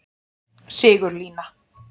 Sigurlína